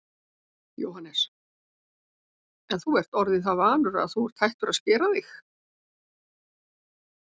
Jóhannes: En þú ert orðinn það vanur að þú ert hættur að skera þig?